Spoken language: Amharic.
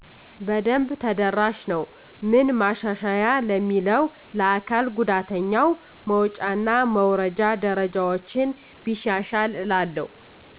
በደብ ተደራሽ ነወ። ምን ማሻሻያ ለሚለው ለአካል ጉዳተኛው መወጫ እና መውረጃ ደረጃወችን ቢሻሻል እላለው።